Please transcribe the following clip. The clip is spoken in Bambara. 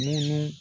Munu